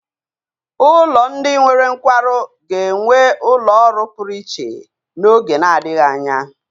Ụlọ ndị nwere nkwarụ ga-enwe ụlọ ọrụ pụrụ iche n'oge na-adịghị anya.